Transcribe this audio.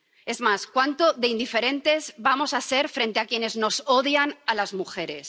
Es más, cuánto de indiferentes vamos a ser frente a quienes nos odian, a las mujeres.